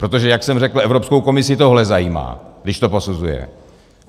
Protože jak jsem řekl, Evropskou komisi tohle zajímá, když to posuzuje.